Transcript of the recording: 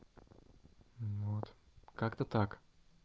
вот как-то так